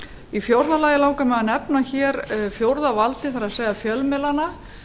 í fjórða lagi langar mig að nefna fjórða valdið það er fjölmiðlana